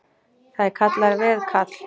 Það er kallað veðkall.